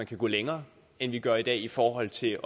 kan gå længere end vi gør i dag i forhold til